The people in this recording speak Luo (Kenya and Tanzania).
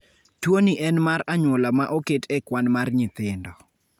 Tuwoni en mar anyuola ma oket e kwan mar nyithindo.